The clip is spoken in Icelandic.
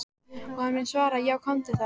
Og hann mun svara:- Já komdu þá.